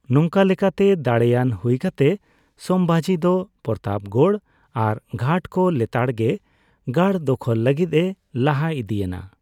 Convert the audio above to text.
ᱱᱚᱝᱠᱟ ᱞᱮᱠᱟᱛᱮ ᱫᱟᱲᱮᱭᱟᱱ ᱦᱩᱭ ᱠᱟᱛᱮ ᱥᱚᱢᱵᱷᱟᱡᱤ ᱫᱚ ᱯᱨᱚᱛᱟᱯᱜᱚᱲ ᱟᱨ ᱜᱷᱟᱴ ᱠᱚ ᱞᱮᱛᱟᱲᱜᱮ ᱜᱟᱲ ᱫᱚᱠᱷᱚᱞ ᱞᱟᱹᱜᱤᱫ ᱮ ᱞᱟᱦᱟ ᱤᱫᱤᱭᱮᱱᱟ ᱾